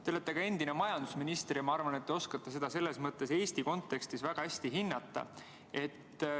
Te olete endine majandusminister ja ma arvan, et te oskate seda Eesti kontekstis väga hästi hinnata.